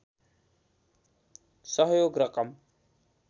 सहयोग रकम